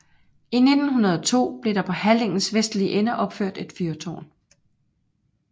I 1902 blev der på halligens vestlige ende opført et fyrtårn